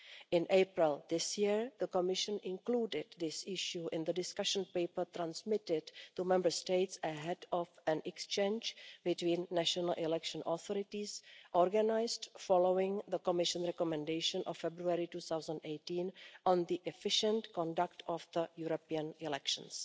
In April this year the Commission included this issue in the discussion paper transmitted to Member States ahead of an exchange between national election authorities organised following the Commission recommendation of February 2018 on the efficient conduct of the European elections.